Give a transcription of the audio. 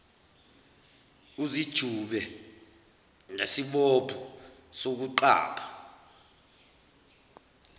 uzijube ngesibopho sokuqapha